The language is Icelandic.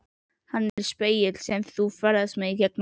Hann er spegill sem þú ferðast með gegnum árin.